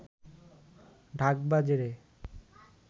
ঢাক বাজে রে